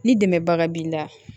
Ni dɛmɛbaga b'i la